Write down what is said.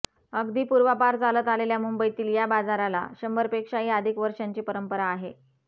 अगदी पूर्वापार चालत आलेल्या मुंबईतील या बाजाराला शंभरपेक्षाही अधिक वर्षांची परंपरा आहे